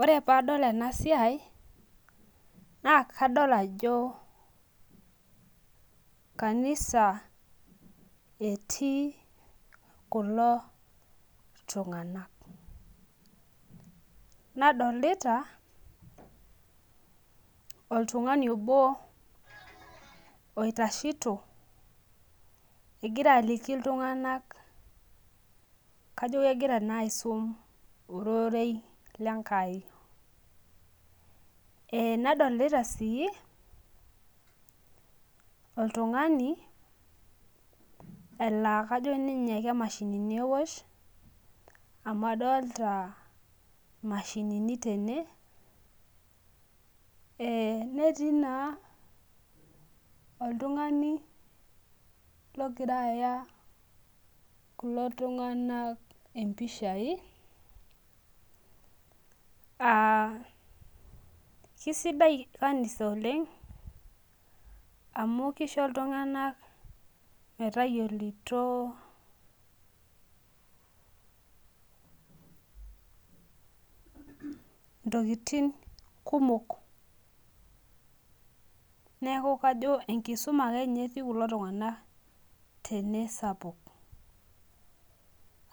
ore pee adol ena siai naa kadol ajo kanisa etii kulo tung'anak nadolita oltung'ani obo oitashito egira aliki iltung'anak kajo kegira naa aisum orerei lenkai nadolita sii oltung'ani laa kajo ninye kemashinini ewosh , amu adolta imashinini tene netiii naa netii naa oltung'ani logira aya kulo tung'anak impishai aakisidai kanisa oleng' amu kisho iltung'anak metayiolito intokitin kumok neeku enkisuma akeninye etii kulo tung'anak sapuk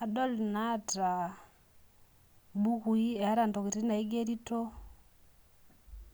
adol ilooota ibukui naigerito.